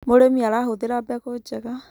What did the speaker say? Mũrĩmi arahũthĩra mbegũ njega